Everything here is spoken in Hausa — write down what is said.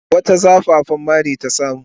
Wata zafafan mari ta samu.